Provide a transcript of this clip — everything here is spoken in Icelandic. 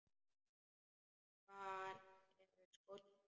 Hvar eru skórnir mínir?